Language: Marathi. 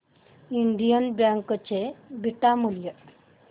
इंडियन बँक चे बीटा मूल्य